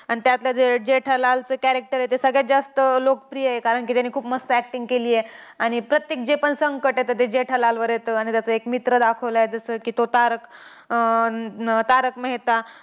आणि त्यातलं जे जेठालालचं character आहे, ते सगळ्यात जास्त लोकप्रिय आहे. कारण की, त्याने खूप मस्त acting केलीय. आणि प्रत्येक जेपण संकट येतंय, ते जेठालालवर येतं. आणि त्याचा एक मित्र दाखवलाय. जसं की, तो तारक~ अं तारक मेहता.